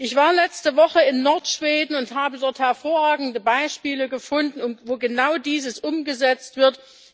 Ich war letzte Woche in Nordschweden und habe dort hervorragende Beispiele gefunden, wo genau dieses umgesetzt wird.